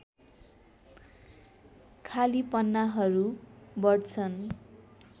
खालि पान्नाहरू बढ्छन्